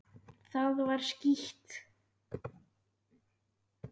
Það var skítt.